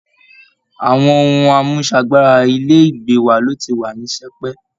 Àwọn ohun àmúṣagbára Ilé ìgbé wa ló ti wà ní sẹpẹ́